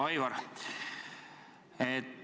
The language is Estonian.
Hea Aivar!